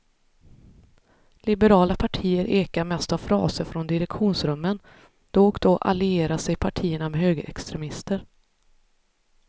Liberala partier ekar mest av fraser från direktionsrummen, då och då allierar sig partierna med högerextremister.